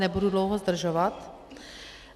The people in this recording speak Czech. Nebudu dlouho zdržovat.